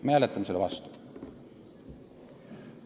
Me hääletame selle eelnõu vastu.